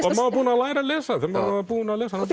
var búinn að læra að lesa þegar maður var búinn að lesa hana